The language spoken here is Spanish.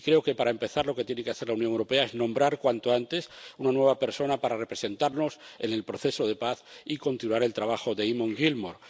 Y creo que, para empezar, lo que tiene que hacer la Unión Europea es nombrar cuanto antes una nueva persona para representarnos en el proceso de paz y continuar el trabajo de Eamon Gilmore.